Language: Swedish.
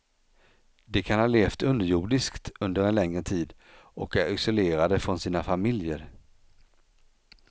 De kan ha levt underjordiskt under en längre tid och är isolerade från sina familjer.